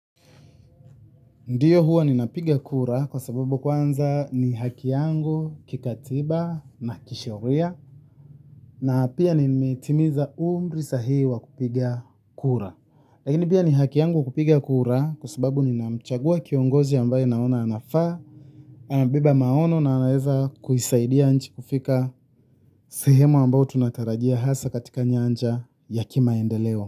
Ndiyo huwa ni napiga kura kwa sababu kwanza ni haki yangu kikatiba na kisheria na pia nimetimiza umri sahihi wa kupiga kura. Lakini pia ni haki yangu kupiga kura kwa sababu ninamchagua kiongozi ambaye naona anafaa, anabeba maono na anaeza kuisaidia nchi kufika sehemu ambayo tunatarajia hasa katika nyanja ya kimaendeleo.